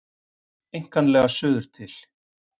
Einkanlega suður til